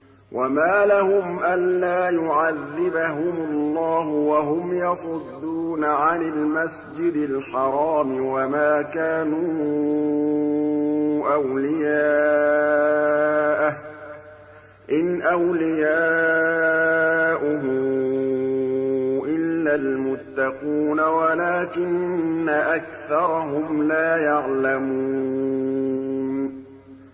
وَمَا لَهُمْ أَلَّا يُعَذِّبَهُمُ اللَّهُ وَهُمْ يَصُدُّونَ عَنِ الْمَسْجِدِ الْحَرَامِ وَمَا كَانُوا أَوْلِيَاءَهُ ۚ إِنْ أَوْلِيَاؤُهُ إِلَّا الْمُتَّقُونَ وَلَٰكِنَّ أَكْثَرَهُمْ لَا يَعْلَمُونَ